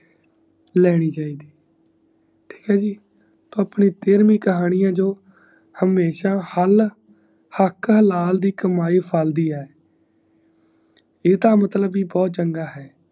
ਲੈਣੀ ਚਾਹੀਦੀ ਠੀਕ ਈ ਜੀ ਆਪਣੀ ਤੇਰਵੀ ਕਹਾਣੀ ਈ ਜੋ ਹਮੇਸ਼ਾ ਹਾਲ ਹਕ਼ ਨਾਲ ਦੀ ਕਮਾਇ ਜਫਲਦੀ ਹੈ ਏਦਾਂ ਮਤਲਵ ਵੀ ਬਹੁਤ ਚੰਗਾ ਈ